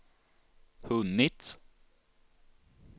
hunnit